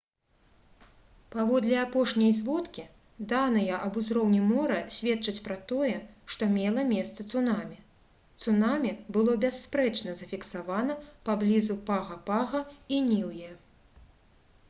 паводле апошняй зводкі даныя аб узроўні мора сведчаць пра тое што мела месца цунамі цунамі было бясспрэчна зафіксавана паблізу пага-пага і ніўе